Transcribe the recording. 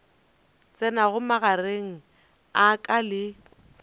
tsenago magareng a ka le